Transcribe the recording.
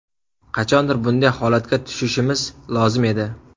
Qachondir bunday holatga tushishimiz lozim edi.